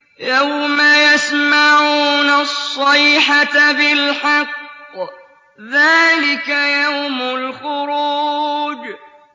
يَوْمَ يَسْمَعُونَ الصَّيْحَةَ بِالْحَقِّ ۚ ذَٰلِكَ يَوْمُ الْخُرُوجِ